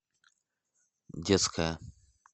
детская